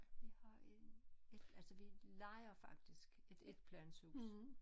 Vi har en et altså vi lejer faktisk et étplanshus